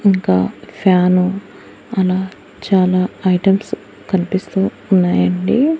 ఇంకా ఫ్యాను అలా చాలా ఐటమ్స్ కన్పిస్తూ ఉన్నాయండి.